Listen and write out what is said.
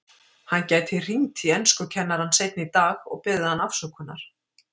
Hann gæti hringt í enskukennarann seinna í dag og beðið hann afsökunar.